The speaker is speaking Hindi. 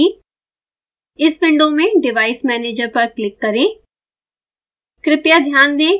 एक विंडो खुलेगी इस विंडो में device manager पर क्लिक करें